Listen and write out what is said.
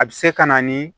A bɛ se ka na ni